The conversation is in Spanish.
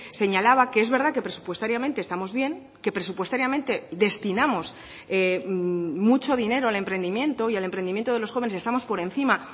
señalaba que es verdad que presupuestariamente estamos bien que presupuestariamente destinamos mucho dinero al emprendimiento y al emprendimiento de los jóvenes estamos por encima